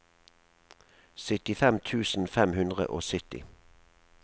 syttifem tusen fem hundre og sytti